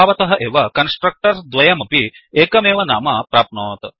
स्वभावतः एव कन्स्ट्रक्टर्स् द्वयमपि एकमेव नाम प्राप्नोत्